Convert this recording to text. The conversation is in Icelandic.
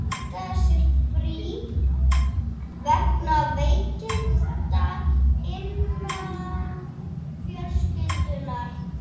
Þannig geta þær dreift sér víðs vegar um líkamann og myndað meinvörp.